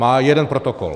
Má jeden protokol.